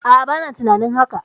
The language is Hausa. A'a, bana tunanin haka.